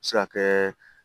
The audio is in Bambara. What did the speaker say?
Se ka kɛ